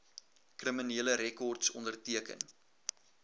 kriminele rekords onderteken